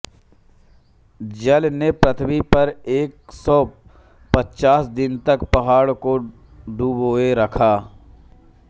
जल ने पृथ्वी पर एक सौ पचास दिन तक पहाड़ को डुबोए रखा